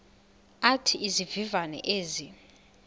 athi izivivane ezi